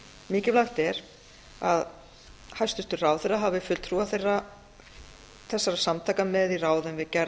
mikilvægt er að hæstvirtur ráðherra hafi fulltrúa þessara samtaka með í ráðum við gerð